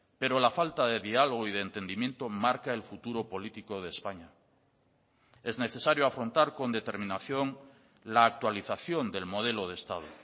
pero la falta de diálogo y de entendimiento marca el futuro político de españa es necesario afrontar con determinación la actualización del modelo de estado